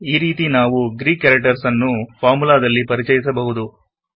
ಈ ರೀತಿ ನಾವು ಗ್ರೀಕ್ ಕ್ಯಾರೆಕ್ಟರ್ಸ್ ನ್ನು ಫಾರ್ಮುಲಾದಲ್ಲಿ ಪರಿಚಯಿಸಬಹುದು